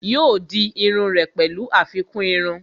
yóò di iru rẹ̀ pẹ̀lú àfikún irun